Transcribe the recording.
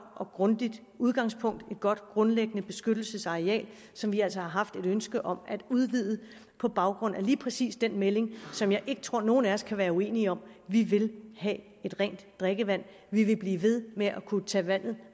og grundigt udgangspunkt et godt grundlæggende beskyttelsesareal som vi altså har haft et ønske om at udvide på baggrund af lige præcis den melding som jeg ikke tror nogen af os kan være uenige om vi vil have rent drikkevand vi vil blive ved med at kunne tage vandet